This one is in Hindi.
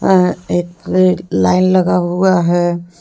अ एक रेड लाइन लगा हुआ है।